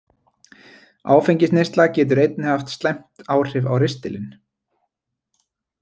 Áfengisneysla getur einnig haft slæmt áhrif á ristilinn.